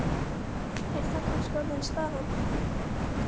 Er það kannski orðin staðan?